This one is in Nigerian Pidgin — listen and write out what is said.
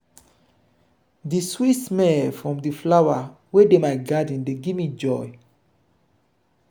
di sweet smell from di flower wey dey my garden dey give me joy.